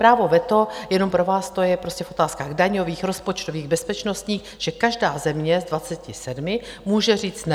Právo veta - jenom pro vás - to je prostě v otázkách daňových, rozpočtových, bezpečnostních, že každá země z 27 může říct ne.